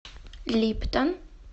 липтон